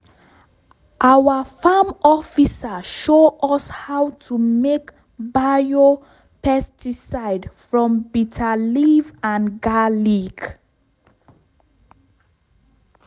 our farm officer show us how to make bio-pesticide from bitter leaf and garlic